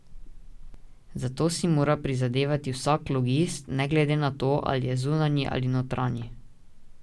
Za to si mora prizadevati vsak logist, ne glede na to, ali je zunanji ali notranji.